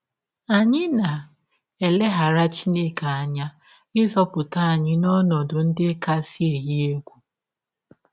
Anyị na - elegara Chineke anya ịzọpụta anyị n’ọnọdụ ndị kasị eyi egwụ.